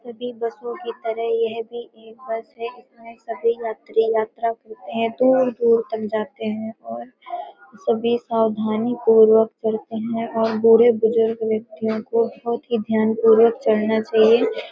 सभी बसों की तरह यह भी एक बस है इसमें सभी यात्री यात्रा करते हैं दूर-दूर तक जाते हैं और सभी सावधानीपूर्वक चढ़ते हैं और बुढ़े बुजुर्ग व्यक्तियों को बहुत ही ध्यानपूर्वक चढ़ना चाहिए ।